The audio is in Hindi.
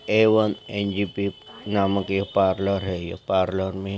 ए_वन एन_जे_बी नामक ये पार्लर है ये पार्लर में--